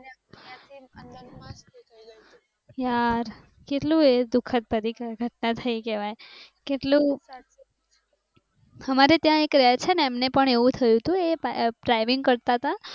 યાર કેટલુ એ દુખદ ભરી ઘટના થઈ કહેવાય કેટલુ અમારે ત્યા એક રહે છે ને એમને પણ એવુ થયુ તુ એ ડ્રાઈવીંગ કરતા હતા